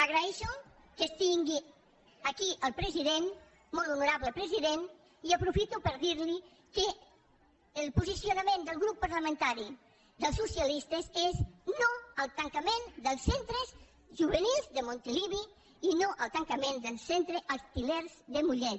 agraeixo que tingui aquí al president molt honorable president i aprofito per dir li que el posicionament del grup parlamentari dels socialistes és no al tancament dels centres juvenils de montilivi i no al tancament del centre els til·lers de mollet